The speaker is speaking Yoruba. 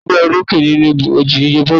Ta ni ó gbégbá olókè nínú ìdíje bọ́ọ̀lù náà?